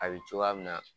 A bɛ cogoya min na